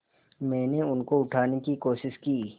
मैंने उनको उठाने की कोशिश की